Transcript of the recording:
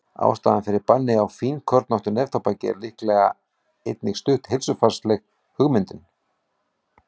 Ástæðan fyrir banni á fínkornóttu neftóbaki er líklega einnig stutt heilsufarslegum hugmyndum.